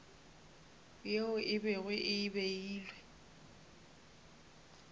yeo e bego e beilwe